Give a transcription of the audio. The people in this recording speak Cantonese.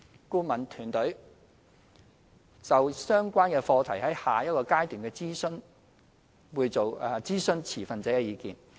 顧問團隊會就相關課題在下一個階段諮詢持份者的意見。